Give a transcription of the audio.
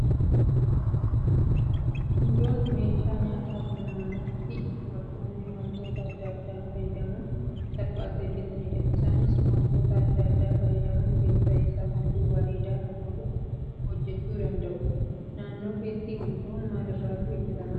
Gundoon meeshaa nyaataa kan naannootti dubartoonni wantoota adda addaa fayyadamuun salphaatti hojjatanidha. Isaanis wantoota adda addaa fayyadamuun keessa isaa halluu bareedaa hawwatuun hojjachuu danda'u. Naannoo keetti gundoon maal maalirraa tolfamaa?